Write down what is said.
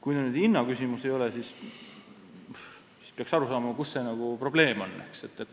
Kui see nüüd hinna küsimus ei ole, siis peaks aru saama, kus see probleem on.